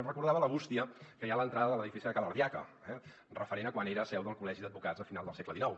em recordava de la bústia que hi ha a l’entrada de l’edifici de ca l’ardiaca referent a quan era seu del col·legi d’advocats a final del segle xix